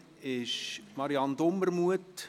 Kommissionssprecherin ist Marianne Dumermuth.